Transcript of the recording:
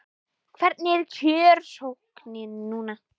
Hvernig er kjörsóknin núna?